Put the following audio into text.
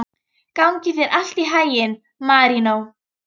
Gangi þér allt í haginn, Marínó.